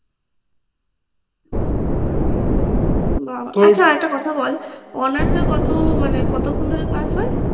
বাহ আচ্ছা একটা কথা বল honours এর কতো মানে কতক্ষন ধরে ক্লাস হয়